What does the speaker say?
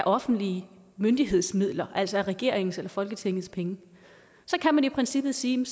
offentlige myndigheders midler altså regeringens og folketingets penge så kan man i princippet sige